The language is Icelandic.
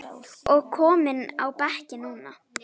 og kominn á bekkinn núna?